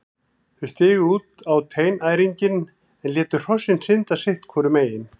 Þau stigu út á teinæringinn en létu hrossin synda sitt hvoru megin.